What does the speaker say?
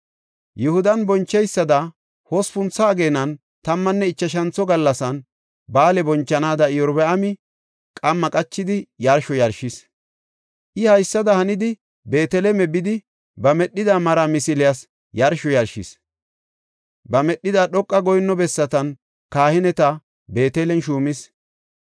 Yihudan boncheysada hospuntho ageenan tammanne ichashantho gallasan ba7aale bonchanaada Iyorbaami qamma qachidi yarsho yarshis. I haysada hanidi Beetele bidi, ba medhida mara misiliyas yarsho yarshis. Ba medhida dhoqa goyinno bessatan kahineta Beetelen shuumis.